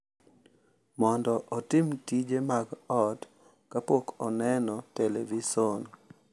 Mondo otim tije mag ot kapok oneno televison